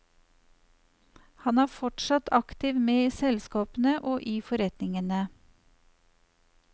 Han er fortsatt aktivt med i selskapene og i forretningene.